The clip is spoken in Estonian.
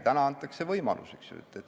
Täna antakse võimalus.